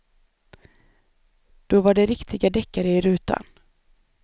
Då var det riktiga deckare i rutan.